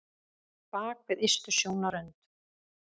Bak við ystu sjónarrönd